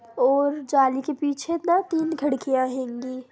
और जाली के पीछे ना तीन खिड़कियां हेंगी।